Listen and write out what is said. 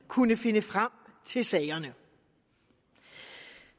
kunne finde frem til sagerne